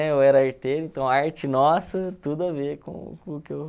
É eu era arteiro, então arte nossa, tudo a ver com com o que eu